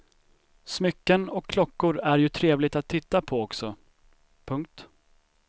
Smycken och klockor är ju trevligt att titta på också. punkt